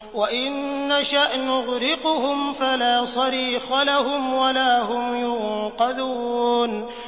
وَإِن نَّشَأْ نُغْرِقْهُمْ فَلَا صَرِيخَ لَهُمْ وَلَا هُمْ يُنقَذُونَ